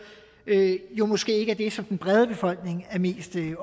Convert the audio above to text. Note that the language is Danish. jo måske ikke er det som den brede befolkning er mest